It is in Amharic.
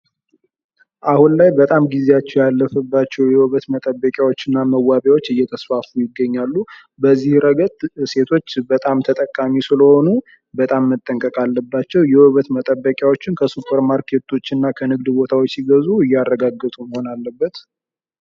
አሁን ላይ በጣም ጊዜያቸው ያለፈባቸው የውበት መጠበቂያዎች እና መዋቢያዎች እየተስፋፉ ይገኛሉ። በዚህ ረገድ ሴቶች በጣም ተጠቃሚ ስለሆኑ በጣም መጠንቀቅ አለባቸው። የውበት መጠበቂያዎችን ከሱፐር ማርኬቶች እና ከንግድ ቦታዎች ሲገዙ እያረጋገጡ መሆን አለበት።